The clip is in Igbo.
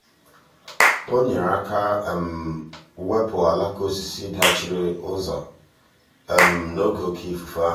o um nyere aka wepụ alaka osisi dachiri um ụzọ n'oge oke ifufe ahụ.